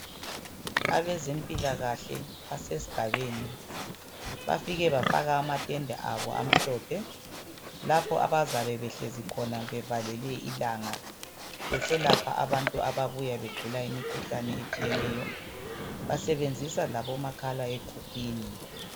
Abezempilakahle basesigabeni. Bafike bafaka amatende abo amhlophe lapho abazabe behlezi khona bevalele ilanga besalapha abantu ababuya begula imikhuhlane etshiyeneyo. Basebenzisa labomakhala ekhukhwini.